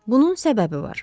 Bunun səbəbi var.